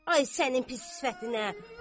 Ay sənin pis sifətinə!